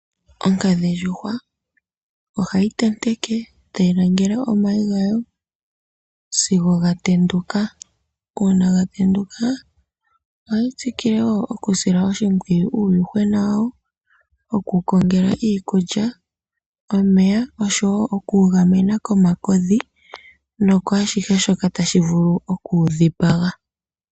Onkadhindjuhwa ohayi tenteke tayi langele omayi gawo sigo gatenduka, uuna gatenduka ohayi tsikile woo okusila oshimpwiyu uuyuhwena wawo oku wu kongela iikulya, omeya osho woo oku wu gamena komakodhi nokwaashihe shoka tashi vulu oku wu dhipaga.